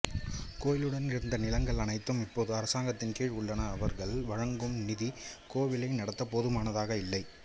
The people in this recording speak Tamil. கோயிலுடன் இருந்த நிலங்கள் அனைத்தும் இப்போது அரசாங்கத்தின் கீழ் உள்ளன அவர்கள் வழங்கும் நிதி கோவிலை நடத்த போதுமானதாக இல்லை